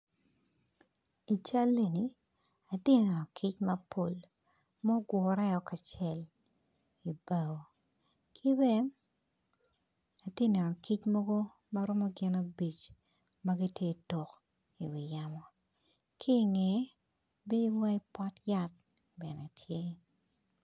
I cal eni atye neno kic mapol ma ogure o kacel kibene atye neno kic mogo magiromo gin abic magitye tuk i wi yamo kinge bim mo opot yat bene tye.